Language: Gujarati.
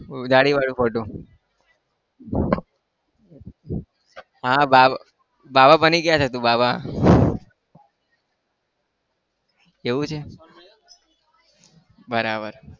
દાઢીવાળો photo હા બાબા બાબા બની ગયા તું બાબા એવું છે? બરાબર